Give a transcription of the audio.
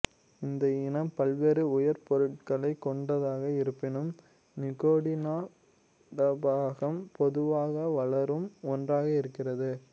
இந்த இனம் பல்வேறு உயிர்ப்பொருட்களைக் கொண்டதாக இருப்பினும் நிகோடினா டபாகம் பொதுவாக வளரும் ஒன்றாக இருக்கிறது